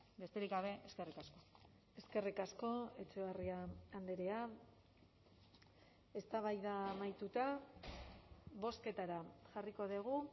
besterik gabe eskerrik asko eskerrik asko etxebarria andrea eztabaida amaituta bozketara jarriko dugu